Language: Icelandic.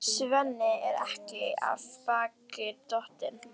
Svenni er ekki af baki dottinn.